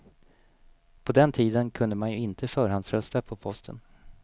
På den tiden kunde man ju inte förhandsrösta på posten.